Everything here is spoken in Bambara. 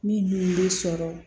Min dun bɛ sɔrɔ